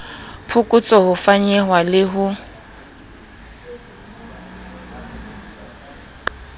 phokotso ho fanyehwa le ho